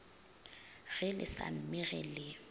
ge le sa mmege le